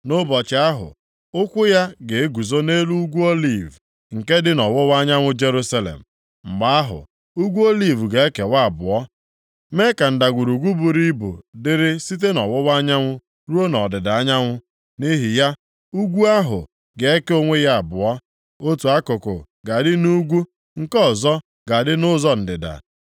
Nʼụbọchị ahụ, ụkwụ ya ga-eguzo nʼelu Ugwu Oliv, nke dị nʼọwụwa anyanwụ Jerusalem. Mgbe ahụ, Ugwu Oliv ga-ekewa abụọ, mee ka ndagwurugwu buru ibu dịrị site nʼọwụwa anyanwụ ruo nʼọdịda anyanwụ. Nʼihi ya, ugwu ahụ ga-eke onwe ya abụọ. Otu akụkụ ga-adị nʼugwu, nke ọzọ ga-adị nʼụzọ ndịda.